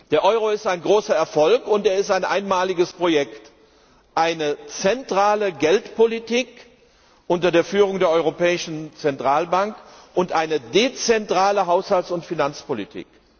Der Euro ist ein großer Erfolg, und er ist ein einmaliges Projekt eine zentrale Geldpolitik unter der Führung der Europäischen Zentralbank und eine dezentrale Haushalts und Finanzpolitik.